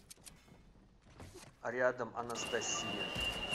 рядом анастасия